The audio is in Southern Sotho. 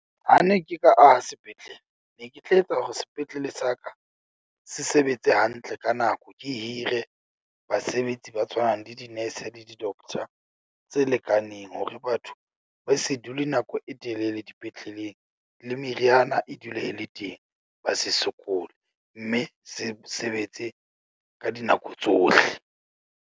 Ha ne ke ka aha sepetlele, ne ke tla etsa hore sepetlele sa ka se sebetse hantle ka nako. Ke hire basebetsi ba tshwanang le dinese le di-doctor tse lekaneng hore, batho ba se dule nako e telele dipetleleng le meriana e dule e le teng. Ba se sokole mme se sebetse ka dinako tsohle.